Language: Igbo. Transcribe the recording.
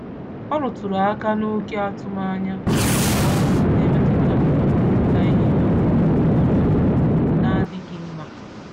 Ọ rụtụrụ aka na oké atụm ányá n'ọrụ n'emetụta nrụpụta ìhè ha nụzọ n'adịghị mma